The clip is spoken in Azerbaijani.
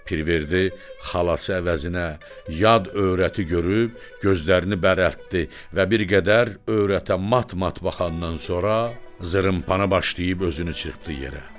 Pirverdi xalası əvəzinə yad öyrəti görüb gözlərini bərəldib və bir qədər öyrətə mat-mat baxandan sonra zırımpanı başlayıb özünü çırpdı yerə.